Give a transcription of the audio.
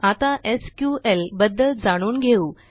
आता एसक्यूएल बद्दल जाणून घेऊ